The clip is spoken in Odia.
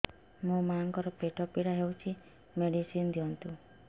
ମୋ ମାଆଙ୍କର ପେଟ ପୀଡା ହଉଛି ମେଡିସିନ ଦିଅନ୍ତୁ